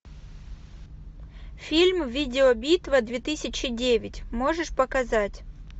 фильм видео битва две тысячи девять можешь показать